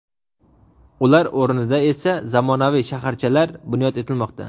Ular o‘rnida esa zamonaviy shaharchalar bunyod etilmoqda.